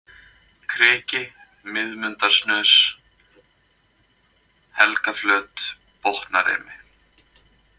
Kriki, Miðmundarsnös, Helgaflöt, Botnarimi